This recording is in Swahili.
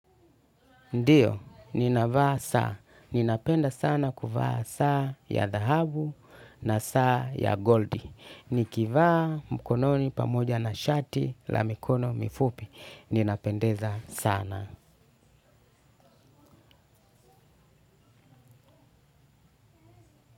Ndiyo, ninavaa saa. Ninapenda sana kuvaa saa ya dhahabu na saa ya gold. Nikivaa mkononi pamoja na shati, la mikono mifupi. Ninapendeza sana.